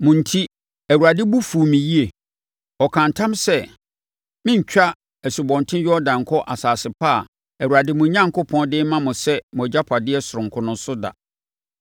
Mo enti, Awurade bo fuu me yie. Ɔkaa ntam sɛ, merentwa Asubɔnten Yordan nkɔ asase pa a Awurade, mo Onyankopɔn, de rema mo sɛ mo agyapadeɛ sononko no so da.